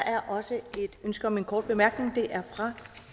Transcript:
er også et ønske om en kort bemærkning den er fra